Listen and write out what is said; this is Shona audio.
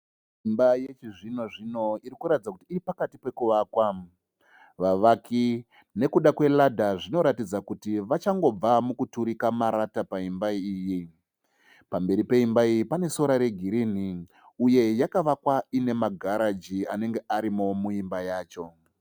Imba yechi zvino-zvino irikuratidza kuti iripakati pekuvakwa. Vavaki nekuda kwe ladder zvinoratidza kuti vachangobva mukuturika marata paimba iyi. Pamberi peimba iyi pane sora re girinhi uye yakavakwa ine ma garaji anenge arimo muimba yacho.